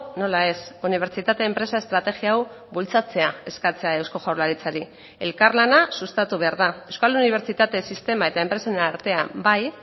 nola ez unibertsitate enpresa estrategia hau bultzatzea eskatzea eusko jaurlaritzari elkarlana sustatu behar da euskal unibertsitate sistema eta enpresen artean bai